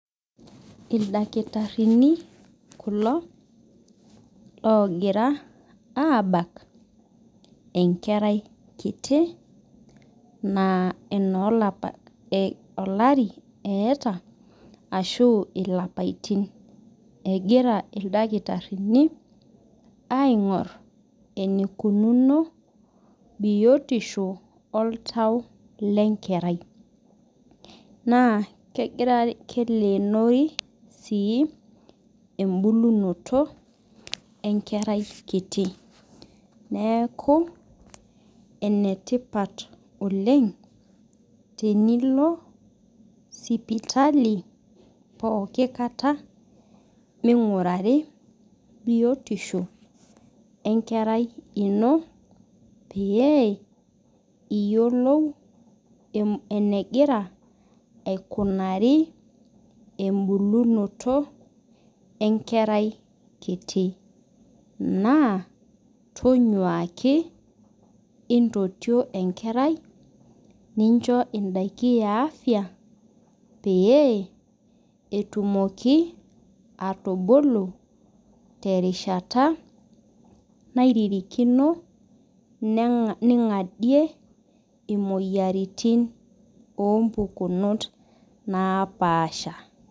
Ildakitarini kulo logira abak enkerai kitii naa ono lapaitin olari eeta ashu ilapaitin. Egira ildakitarini aingor eneikununo biotisho oltau lenkerai. Naa kelenori sii ibulunoto enkerai kitu neeku ene tipat oleng' tenilo sipitali pookin kata mingurari biotisho enkarai ino peyie iyiolou enegira aikunari ebukunoto enkerai kiti. Naa tonyuaki intotio enkerai nincho idaikin ee afya pee etumoki atubuku te rishata naririkino ning'adie imoyiaritin oo mpukunot napasha.